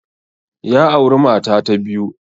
Ya auri mata ta biyu